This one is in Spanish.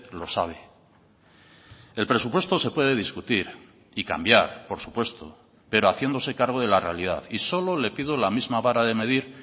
lo sabe el presupuesto se puede discutir y cambiar por supuesto pero haciéndose cargo de la realidad y solo le pido la misma vara de medir